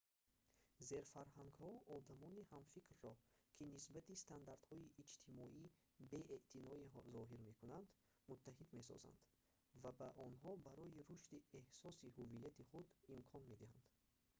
зерфарҳангҳо одамони ҳамфикрро ки нисбати стандартҳои иҷтимоӣ беэътиноӣ зоҳир мекунанд муттаҳид месозанд ва ба онҳо барои рушди эҳсоси ҳуввияти худ имкон медиҳанд